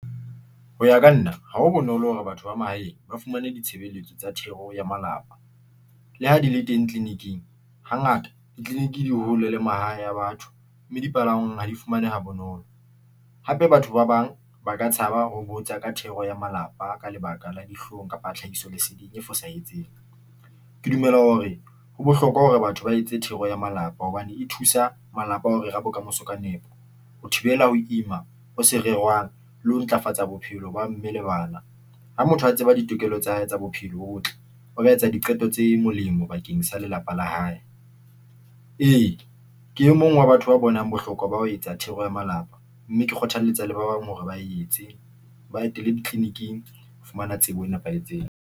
Ho ya ka nna ha ho bonolo hore batho ba mahaeng ba fumane ditshebeletso tsa thero ya malapa. Le ha di le teng clinic-ing hangata di-clinic di hole le mahae a batho, mme dipalangwang ha di fumanehe ha bonolo. Hape, batho ba bang ba ka tshaba ho botsa ka thero ya malapa ka lebaka la dihlong kapa tlhahiso leseding e fosahetseng. Ke dumela hore ho bohlokwa hore batho ba etse thero ya malapa hobane e thusa malapa ho rera bokamoso ka nepo, ho thibela ho ima ho sa rerwang le ho ntlafatsa bophelo ba mme le bana. Ha motho a tseba ditokelo tsa hae tsa bophelo, bo botle a ka etsa diqeto tse molemo bakeng sa lelapa la hae. Ee, ke e mong wa batho ba bonang bohlokwa ba ho etsa thero ya malapa, mme ke kgothaletsa le ba bang hore ba etse ba etele di-clinic-ing ho fumana tsebo e nepahetseng.